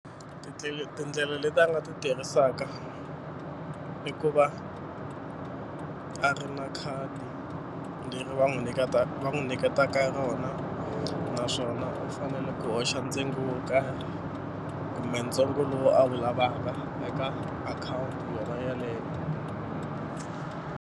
Tindlela tindlela leti a nga ti tirhisaka i ku va a ri na khadi leri va n'wi va n'wi nyiketaka rona naswona u fanele ku hoxa ntsengo wo karhi kumbe ntsongo lowu a wu lavaka eka akhawunti yona yaleyo.